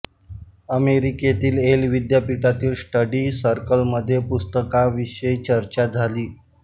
अमेरिकेतील येल विद्यापीठातील स्टडी सर्कलमध्ये पुस्तकाविषयी चर्चा झाली